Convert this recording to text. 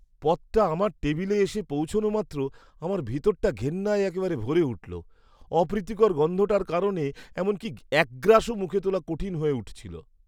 পদটা আমার টেবিলে এসে পৌঁছনো মাত্র আমার ভিতরটা ঘেন্নায় একেবারে ভরে উঠল। অপ্রীতিকর গন্ধটার কারণে এমনকি এক গ্রাসও মুখে তোলা কঠিন হয়ে উঠেছিল।